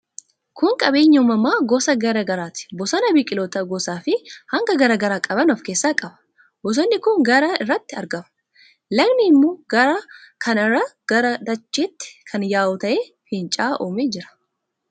Kun qabeenya uumamaa gosa garaa garaati. Bosona biqiloota gosaafi hanga garaa garaa qaban of keessaa qaba. Bosonni kun gaara irratti argama. Lagni immoo gaara kana irraa gara dachaatti kan yaa'u ta'ee, finca'aa uumee jira.